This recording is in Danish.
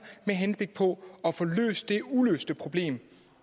med henblik på at få løst det uløste problem